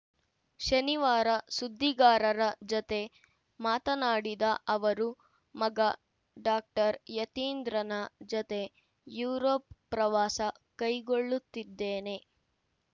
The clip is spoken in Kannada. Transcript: ಶನಿವಾರ ಸುದ್ದಿಗಾರರ ಜತೆ ಮಾತನಾಡಿದ ಅವರು ಮಗ ಡಾಕ್ಟರ್ ಯತೀಂದ್ರನ ಜತೆ ಯುರೋಪ್‌ ಪ್ರವಾಸ ಕೈಗೊಳ್ಳುತ್ತಿದ್ದೇನೆ